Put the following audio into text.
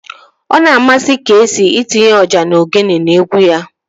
Ọ na-amasị Keesii itinye ọjà na ogene n'egwu ya